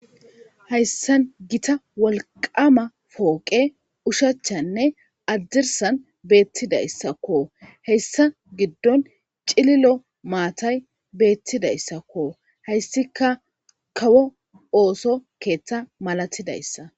Haysa gita wolqama poqe ushachanne hadirsan betidaysko hesa gidon cilolo matay betidaysako haysika kawo oso ketha malatidaysa